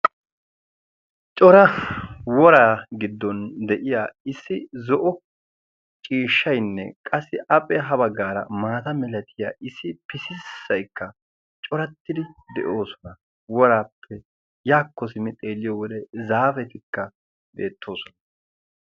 Cora woraa giddon de'iya issi zo'o ciishshaynne qassi appe ha baggaara maata milatiya issi pisissaikka corattidi de'oosona. woraappe yaakko simmi xeeliyo wode zaafetikka beettoosona.